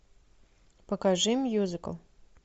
покажи мюзикл